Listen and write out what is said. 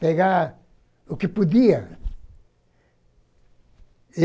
Pegar o que podia.